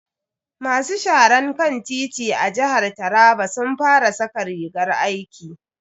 Masu sharan kan titi a jihar taraba sun fara saka rigar aiki.